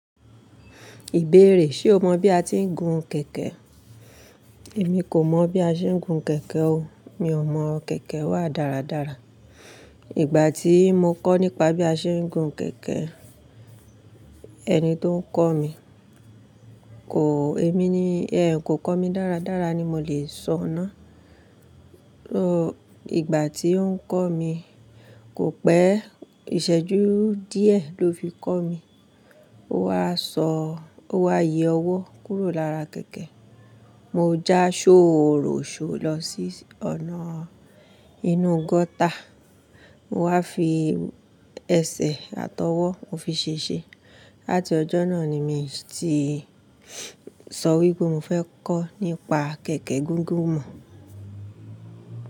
Ìbéèrè, ṣe o mọ̀ bí a ti ń gun kẹ̀kẹ́? Èmi kò mọ̀ bí a ṣe ń gun kẹ̀kẹ́ o. Mi ò mọ̀, kẹ̀kẹ́ wà dáradára. Ìgbà tí mo kọ́ nípa bí a ṣe ń gun kẹ̀kẹ́, ẹni tó ń kọ́ mi kò, èmi ni, ẹ n kò kọ́ mi dáradára ni mo le sọ ọ́n ná. Ò, ìgbà tí ó ń kọ́ mi, kò pẹ́, ìṣẹ́ju díẹ̀ ló fi kọ́ mi. Ó wá sọ, ó wá yẹ ọwọ́ kúrò lára kẹ̀kẹ́. Mo já ṣóòro ṣóòro lọ sí ọ̀nà inú gọ́tà, mo wá fi ẹsẹ̀ àtọwọ́, mo fi ṣèṣe. Lati ọjọ́ náà ni mi ti sọ wípé mo fẹ́ kọ́ nípa kẹ̀kẹ́ gúgúrú mọ̀.